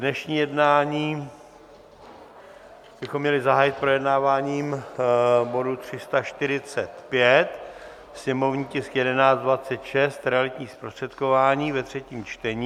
Dnešní jednání bychom měli zahájit projednáváním bodu 345, sněmovní tisk 1126 - realitní zprostředkování, ve třetím čtení.